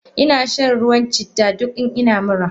Inashan ruwan citta duk in ina mura.